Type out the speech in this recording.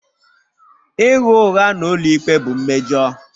Ịgha ụgha n'ụlọikpe bụ mmejọ.